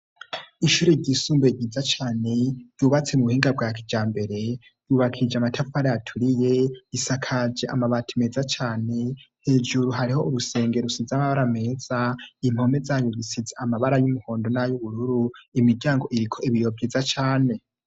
Ishuri ryisumbuye ryiza cane, ryubatse mu buhinga bwa kijambere, yubakishije amatafari aturiye, risakaje amabati meza cane, hejuru hariho urusenge rusize amabara meza, impome zayo zisize amabara y'umuhondo n'ayubururu, imiryango iriko ibiyo vyiza cane.